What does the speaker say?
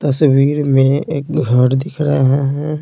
तस्वीर में एक घर दिख रहा है।